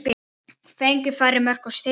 Fengið færri mörk á sig?